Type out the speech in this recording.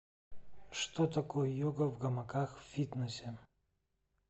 что такое йога в гамаках в фитнесе